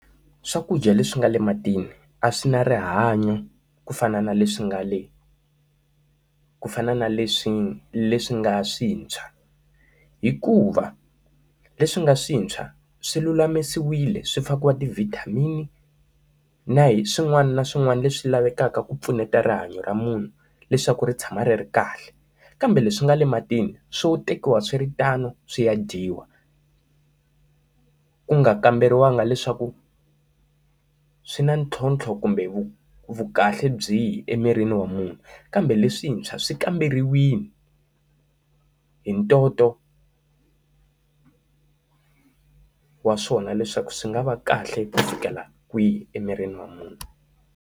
Swakudya leswi nga le matini a swi na rihanyo ku fana na leswi nga le ku fana na leswi ngale ku fana na leswi nga swintshwa. Hikuva leswi nga swintshwa, swi lulamisiwile swi fakiwa ti-vitamin-i na hi swin'wana na swin'wana leswi lavekaka ku pfuneta rihanyo ra munhu leswaku ri tshama ri ri kahle. Kambe leswi nga le matini swo tekiwa swi ri tano swi ya dyiwa, ku nga kamberiwanga leswaku swi na ntlhontlho kumbe vu vu kahle byihi emirini wa munhu kambe leswintshwa swi kamberiwile hi ntoto wa swona leswaku swi nga va kahle ku fikela kwihi emirini wa munhu.